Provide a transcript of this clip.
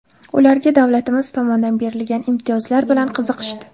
Ularga davlatimiz tomonidan berilgan imtiyozlar bilan qiziqishdi.